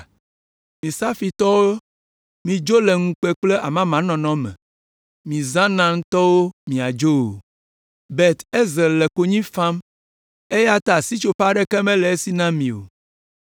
Mi Safirtɔwo midzo le ŋukpe kple amamanɔnɔ me; mi Zaanantɔwo miadzo o. Bet Ezel le konyi fam eya ta sitsoƒe aɖeke mele esi na mi o.